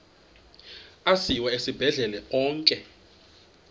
asiwa esibhedlele onke